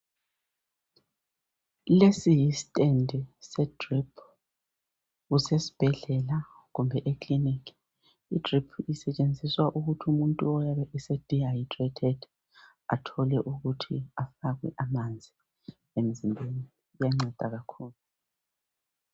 Lesi yistand se drip, kusesibhedlela kumbe ekilinika. Idrip isetshenziswa ukuthi umuntu oyabe se dehydrated athole ukuthi afakwe amanzi emzimbeni kuyanceda kakhulu.